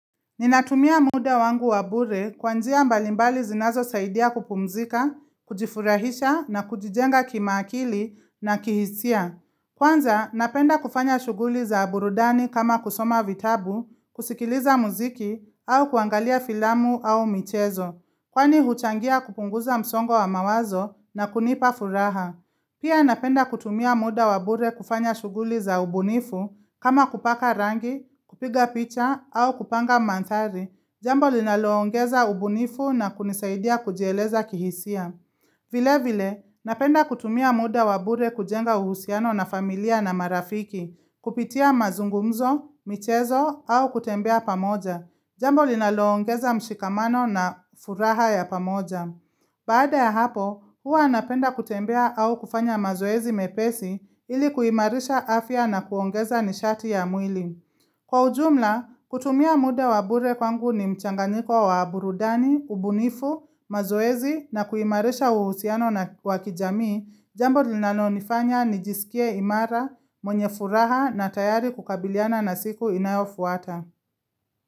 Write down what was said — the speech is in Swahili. Ninatumia muda wangu wa bure kwa njia mbalimbali zinazosaidia kupumzika, kujifurahisha na kujijenga kimaakili na kihisia. Kwanza, napenda kufanya shughuli za burudani kama kusoma vitabu, kusikiliza muziki au kuangalia filamu au michezo. Kwani huchangia kupunguza msongo wa mawazo na kunipa furaha. Pia napenda kutumia muda wa bure kufanya shughuli za ubunifu, kama kupaka rangi, kupiga picha, au kupanga manthari. Jambo linaloongeza ubunifu na kunisaidia kujieleza kihisia. Vile vile, napenda kutumia muda wa bure kujenga uhusiano na familia na marafiki, kupitia mazungumzo, michezo au kutembea pamoja. Jambo linaloongeza mshikamano na furaha ya pamoja. Baada ya hapo, huwa napenda kutembea au kufanya mazoezi mepesi ili kuimarisha afya na kuongeza nishati ya mwili. Kwa ujumla, kutumia muda wa bure kwangu ni mchanganyiko wa burudani, ubunifu, mazoezi na kuimarisha uhusiano na kwa kijami, jambo linalonifanya nijisikie imara, mwenye furaha na tayari kukabiliana na siku inayofuata.